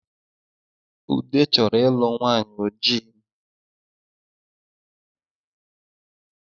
Ude chọrọ ịlụ nwanyị ojii